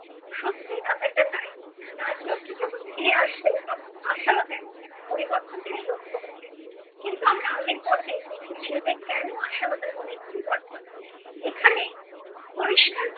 সত্যি ব্যাপারটা তাই। রাজলক্ষী যখন ফিরে আসলো তখন আশালতার মধ্যে একটা পরিবর্তন তিনি লক্ষ্য করলেন। কিন্তু আমরা আগের পর্বে দেখেছি যে কেন আশালতার মনে পরিবর্তন। এখানে পরিষ্কার